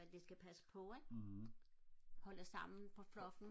men skal passe på ikke holder sammen på flokken